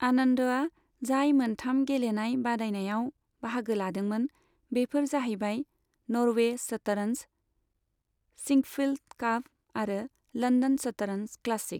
आनन्दआ जाय मोनथाम गेलेनाय बादायनायाव बाहागो लादोंमोन बेफोर जाहैबाय नर्वे शतरन्ज, सिंकफील्ड काप आरो लन्दन शतरन्ज क्लासिक।